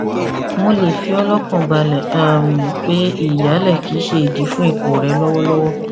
mo le fi ọ lọkàn balẹ um pé ìyálẹ kì í ṣe idi fún ipò rẹ lọwọlọwọ